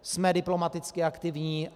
Jsme diplomaticky aktivní.